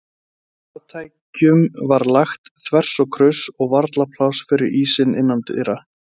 Farartækjum var lagt þvers og kruss og varla pláss fyrir ísina innandyra.